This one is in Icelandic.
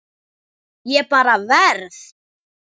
Ég bara verð.